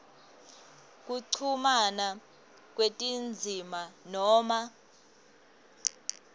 kuchumana kwetindzima noma